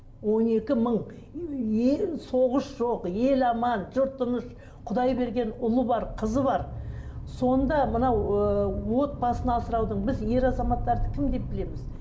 он екі мың соғыс жоқ ел аман жұрт тыныш құдай берген ұлы бар қызы бар сонда мынау ыыы отбасын асыраудың біз ер азаматтарды кім деп білеміз